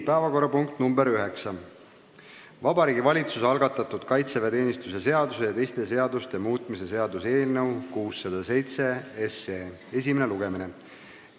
Päevakorrapunkt nr 9: Vabariigi Valitsuse algatatud kaitseväeteenistuse seaduse ja teiste seaduste muutmise seaduse eelnõu 607 esimene lugemine.